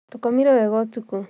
Tũkomire wega ũtukũ